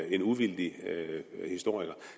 en uvildig historiker